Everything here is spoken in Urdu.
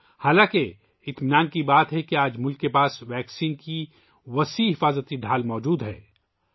تاہم یہ امر باعث اطمینان ہے کہ آج ملک میں ویکسین کا ایک جامع حفاظتی ڈھال موجود ہے